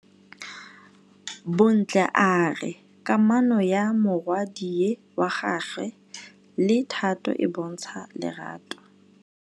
Bontle a re kamanô ya morwadi wa gagwe le Thato e bontsha lerato.